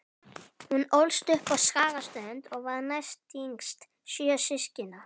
Hún ólst upp á Skagaströnd og var næstyngst sjö systkina.